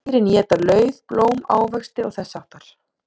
Dýrin éta lauf, blóm, ávexti og þess háttar.